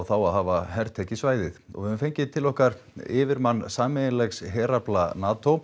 þá á að hafa hertekið svæðið við höfum fengið til okkar yfirmann sameiginlegs herafla NATO